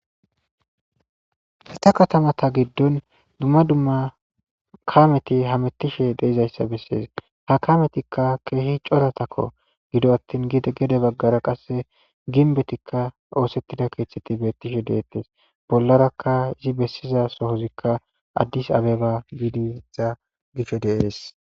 ita katamata giddon dumma dumma kameti hamettishe deizayssa bessees ha kametikka keehi coratakko gido attin gidgede baggara qasse ginbetikka oosettida keeththetti beettishe deettes bollarakka izi bessiza sohozikka addis abeba giidiza gishe deees